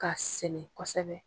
Ka sɛnɛ kosɛbɛ.